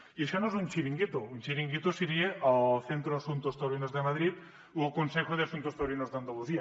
i això no és un xiringuito un xiringuito seria el centro de asuntos taurinos de madrid o el consejo de centros taurinos d’andalusia